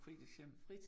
Fritidshjem